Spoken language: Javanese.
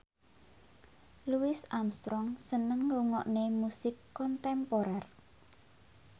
Louis Armstrong seneng ngrungokne musik kontemporer